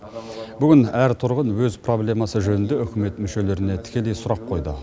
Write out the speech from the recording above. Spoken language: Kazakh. бүгін әр тұрғын өз проблемасы жөнінде үкімет мүшелеріне тікелей сұрақ қойды